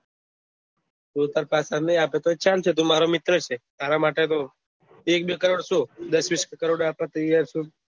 તું તો પાછો ના આપશે તો ભી ચાલશે ટુ મારે મિત્ર છે તારા માટે બહુ એક બે કરોડ શું દસ વિશ કરોડ આપવા તૈયાર છું ન